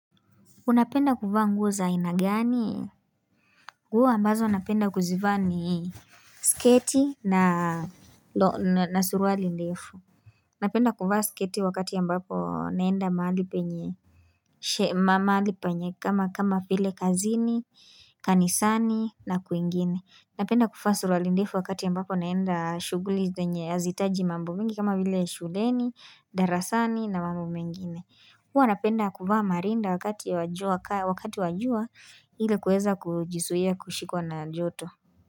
Unapenda kuvaa nguo za aina gani? Nguo ambazo napenda kuzivaa ni sketi na suruali ndefu. Napenda kuvaa sketi wakati ambapo naenda mahali penye kama vile kazini, kanisani na kwingine. Napenda kuvaa suruali ndefu wakati ambapo naenda shughuli zenye hazihitaji mambo mingi kama vile shuleni, darasani na mambo mengine. Huwa napenda kuvaa marinda wakati wa jua kali wakati wa jua ili kuweza kujizuia kushikwa na joto.